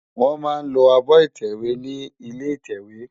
Wòn má lò ábò itèwé ni ilé itèwé